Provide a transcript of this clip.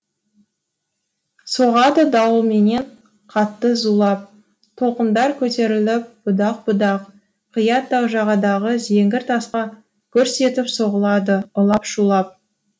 соғады дауылменен қатты зулап толқындар көтеріліп будақ будақ қия тау жағадағы зеңгір тасқа гүрс етіп соғылады улап шулап